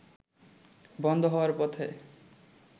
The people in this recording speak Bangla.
বন্ধ হওয়ার পথে